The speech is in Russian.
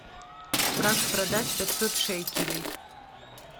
как продать пятьсот шекелей